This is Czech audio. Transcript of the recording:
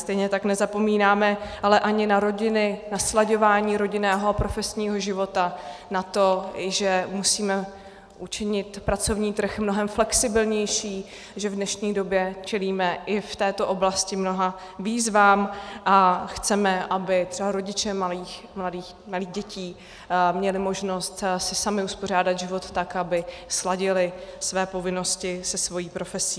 Stejně tak nezapomínáme ale ani na rodiny, na slaďování rodinného a profesního života, na to, že musíme učinit pracovní trh mnohem flexibilnější, že v dnešní době čelíme i v této oblasti mnoha výzvám a chceme, aby třeba rodiče malých dětí měli možnost si sami uspořádat život tak, aby sladili své povinnosti se svou profesí.